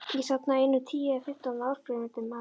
Ég safnaði einum tíu eða fimmtán áskrifendum að